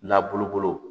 N'a bolo